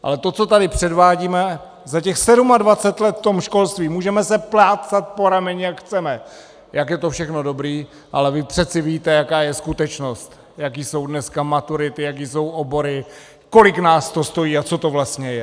Ale to, co tady předvádíme za těch 27 let v tom školství, můžeme se plácat po rameni, jak chceme, jak je to všechno dobré, ale vy přece víte, jaká je skutečnost, jaké jsou dneska maturity, jaké jsou obory, kolik nás to stojí a co to vlastně je.